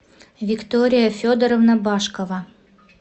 виктория федоровна башкова